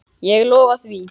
Hvað hann er ólíkur Arnari!